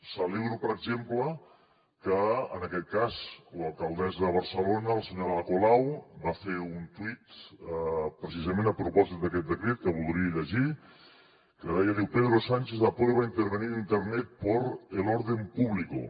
celebro per exemple que en aquest cas l’alcaldessa de barcelona la senyora ada colau va fer un tuit precisament a propòsit d’aquest decret que voldria llegir que deia pedro sánchez aprueba intervenir internet por el orden público